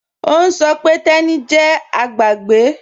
Ọ̀ n sọ̀ pé Teni jẹ́ agbàgébẹ́.